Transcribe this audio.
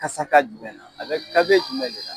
Kasaka jumɛn na a be kalite jumɛn de la